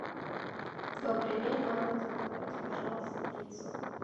добрый день можно заказать пожалуйста пиццу